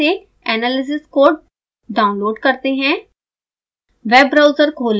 अब वेबसाइट से analysis code download करते हैं